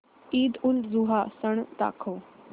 ईदउलजुहा सण दाखव